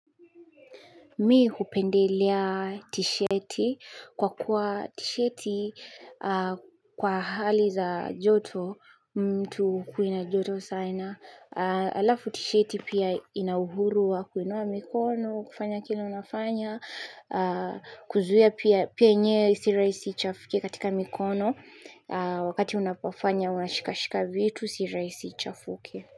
Mi hupendelea t-shirt kwa kuwa t-sheti kwa hali za joto mtu hukui na joto sana. Alafu t-sheti pia ina uhuru wa kuinua mikono, kufanya kile unafanya, kuzuia pia yenyewe si raisi ichafuke katika mikono. Wakati unapofanya unashikashika vitu si raisi ichafuke.